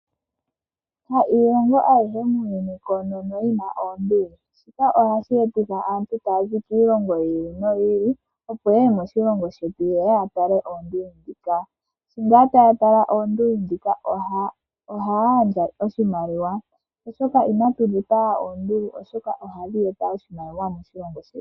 Ha iilongo ayihe muuyuni koonono yi na oonduli . Shika ohashi etitha aantu taya zi kiilongo yi ili noyi ili opo ye ye moshilongo shetu ye ye ya tale oonduli dhika . Shi ngaa taya tala oonduli dhika ohaya gandja oshimaliwa oshoka , inatu dhipaga oonduli oshoka ohadhi eta oshimaliwa moshilongo shetu .